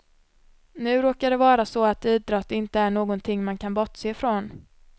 Nu råkar det vara så att idrott inte är någonting man kan bortse från.